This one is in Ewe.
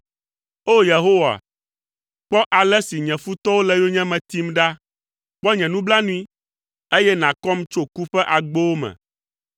O Yehowa, kpɔ ale si nye futɔwo le yonyeme tim ɖa! Kpɔ nye nublanui, eye nàkɔm tso ku ƒe agbowo me,